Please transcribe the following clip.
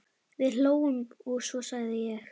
Við hlógum, og svo sagði ég